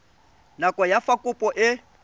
nako ya fa kopo e